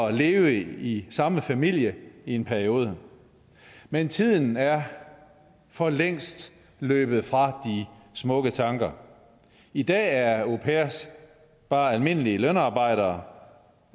at leve i samme familie i en periode men tiden er for længst løbet fra de smukke tanker i dag er au pairer bare almindelige lønarbejdere